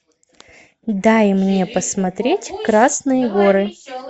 дай мне посмотреть красные горы